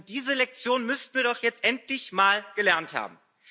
Diese Lektion müssten wir doch jetzt endlich mal gelernt haben.